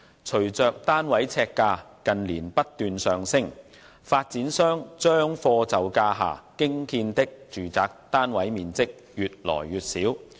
隨着單位呎價近年不斷上升，發展商將貨就價下興建的住宅單位面積越來越小。